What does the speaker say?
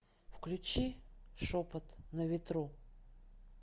включи шепот на ветру